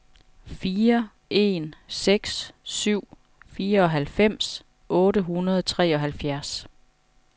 fire en seks syv fireoghalvfems otte hundrede og treoghalvfjerds